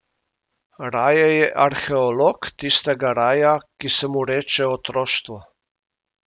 Raje je arheolog tistega raja, ki se mu reče otroštvo.